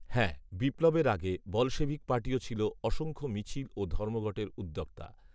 হ্যাঁ, বিপ্লবের আগে বলশেভিক পার্টিও ছিল অসংখ্য মিছিল ও ধর্মঘটের উদ্যোক্তা